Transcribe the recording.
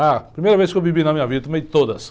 A primeira vez que eu bebi na minha vida, tomei todas.